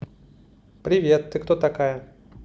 привет ты кто такая